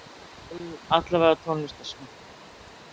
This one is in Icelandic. allavega í tónlistarsmekk.